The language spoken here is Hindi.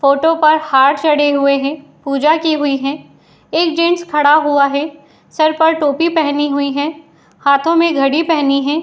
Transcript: फोटो पर हार चढ़े हुए हैं | पूजा की हुई है | एक जेंट्स खड़ा हुआ है | सर पर टोपी पहनी हुई है | हाथों में घड़ी पहनी है।